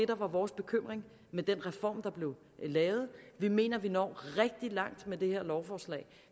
der var vores bekymring med den reform der blev lavet vi mener at vi når rigtig langt med det her lovforslag